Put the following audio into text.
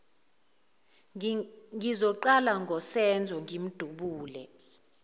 ngizoqala ngosenzo ngimdubule